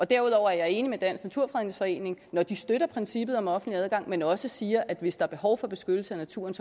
derudover er jeg enig med dansk naturfredningsforening når de støtter princippet om offentlig adgang men også siger at hvis der er behov for beskyttelse af naturen